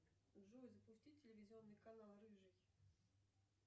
джой запусти телевизионный канал рыжий